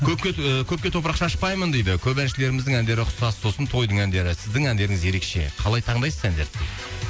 көпке і көпке топырақ шашпаймын дейді көп әншілеріміздің әндері ұқсас сосын тойдың әндері сіздің әндеріңіз ерекше калай таңдайсыз әндерді дейді